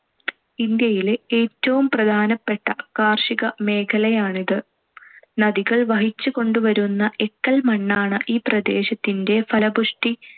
ഇന്ത്യയിലെ ഏറ്റവും പ്രധാനപ്പെട്ട കാർഷികമേഖലയാണിത്. നദികൾ വഹിച്ചുകൊണ്ടുവരുന്ന എക്കൽ മണ്ണാണു ഈ പ്രദേശത്തിന്‍റെ ഫലപുഷ്ടി